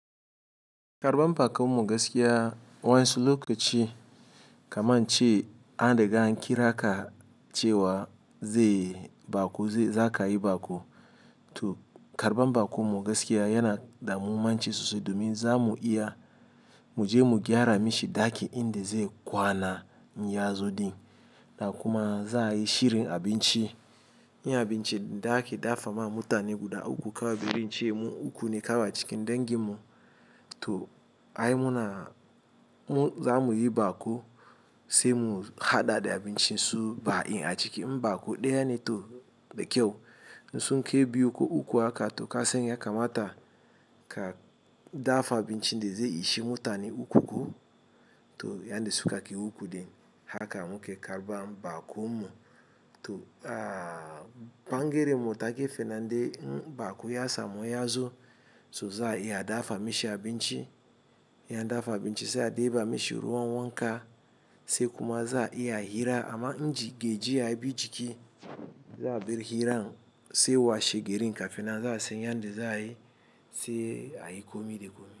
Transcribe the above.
Karban bakon mu gaskiya wayan su lokaci kamar ce an riga an kira ka cewa zai ba ko, za ka yi ba ko. To karban ba kon mu gaskiya yana damu, mun ci sosai domin za mu iya mu je mu gyara mishi daki inda zai kwana inyyazo din. Da kuma za a yi shirin abinci, yin abinci daki da a fa ma mutane guda uku kawai biyun ce uku ne kawa cikin dangin mu. To ai muna mu za mu yi ba ko sai mu haɗa da abinci su ba in a ciki. Ba ko ɗaya ne to da kyau. Sunke biyu ko uku haka to kasani ya kamata ka dafa abincin da zai ishi mutane uku ko. To yanda suka kai uku din haka muke karban ba kon mu. To, ah, bangere mu wata ge fenan inda ba ko ya samu yazo. To za a iya dafa mishi abinci. Ya dafa abinci, sai a dafa mishi ruwan wanka, sai kuma za'a iya a mishi ira amma inji gejiya ya bi jiki za a bi hiran sai washe gari kafina za a san yanda za a yi sai a yi kome da kome.